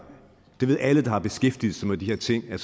alle der har beskæftiget sig med de her ting